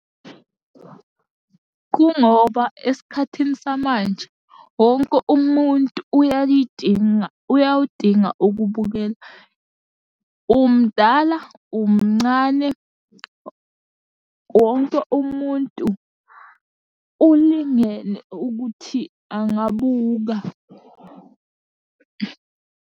Kungoba esikhathini samanje wonke umuntu uyalidinga, uyawudinga ukubukela. Umdala, umncane wonke umuntu ulingene ukuthi angabuka.